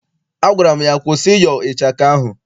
Agwara m ya, kwụsị ịyọ ịchaka ahụ!